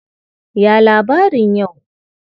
Ya labarin yau?